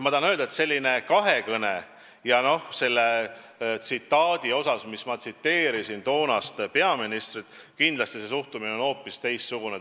Ma tsiteerisin enne kunagist peaministrit ja tahan öelda, et meie kahekõne ja suhtumine tööandjate manifesti on hoopis teistsugune.